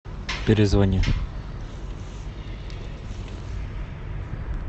перезвони